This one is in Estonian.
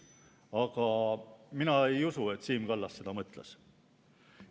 Aga mina ei usu, et Siim Kallas seda mõtles.